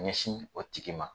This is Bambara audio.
ɲɛsin o tigi ma.